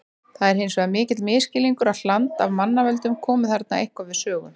Það er hins vegar mikill misskilningur að hland af mannavöldum komi þarna eitthvað við sögu.